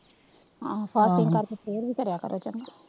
ਆਹੋ ਕਰਕੇ ਸੇਅਰ ਵੀ ਕਰਿਆ ਕਰੋ ਚੰਗਾ।